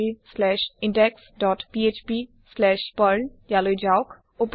scriptspoken tutorialorgindexphpপাৰ্ল যাওক